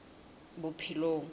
bophelong